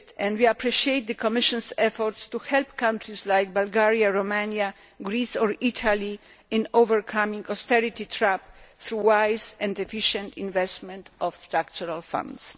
We appreciate the Commission's efforts to help countries like Bulgaria, Romania, Greece and Italy in overcoming the austerity trap through the wise and efficient investment of structural funds.